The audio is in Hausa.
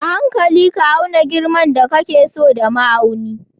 A hankali ka auna girman da kake so da ma'auni